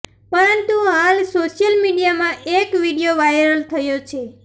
પરંતુ હાલ સોશિયલ મીડિયામાં એક વિડીયો વાઈરલ થયો છે